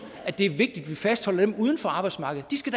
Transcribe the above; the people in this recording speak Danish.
det er vigtigt at vi fastholder dem uden for arbejdsmarkedet de skal